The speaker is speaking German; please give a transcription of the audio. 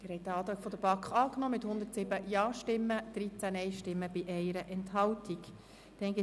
Sie haben diesen Antrag der BaK mit 107 Ja- gegen 13 Nein-Stimmen bei 1 Enthaltung angenommen.